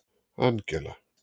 Angela